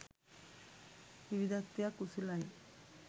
විවිධත්වයක් උසුලයි.